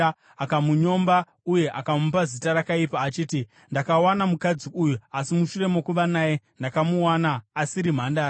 akamunyomba uye akamupa zita rakaipa achiti, “Ndakawana mukadzi uyu, asi mushure mokuva naye, ndakamuwana asiri mhandara,”